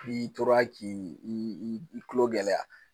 N'i tora k'i i kulo gɛlɛya